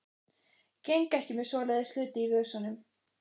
Geng ekki með svoleiðis hluti í vösunum.